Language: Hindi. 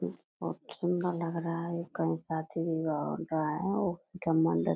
यह लग रहा है कई साथी --